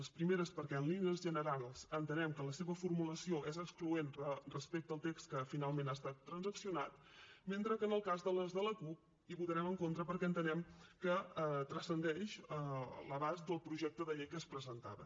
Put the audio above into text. les primeres perquè en línies generals entenem que la seva formulació és excloent respecte al text que finalment ha estat transaccionat mentre que en el cas de les de la cup hi votarem en contra perquè entenem que transcendeixen l’abast del projecte de llei que es presentava